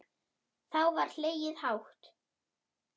Þá var hlegið dátt.